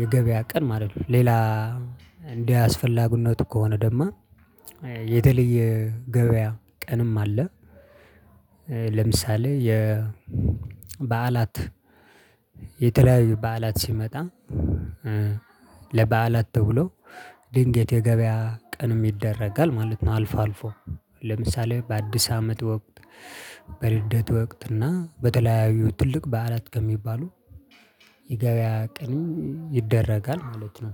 የገበያ ቀን ማለት ነው። ሌላ እንደ አስፈላጊነቱ ከሆነ ደግሞ የተለየ ገበያ ቀንም አለ። ለምሳሌ የበዓላት የተለያዩ በዓላት ሲመጣ ለበዓላት ተብሎ ድንገት የገበያ ቀንም ይደረጋል ማለት ነው። አልፎ አልፎ። ለምሳሌ በአዲስ አመት ወቅት በልደት ወቅት እና በተለያዩ ትልቅ በዓላት ከሚባሉ የገበያ ቀን ይደረጋል ማለት ነው።